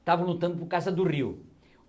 estavam lutando por causa do rio.